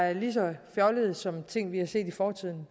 er lige så fjollede som ting vi har set i fortiden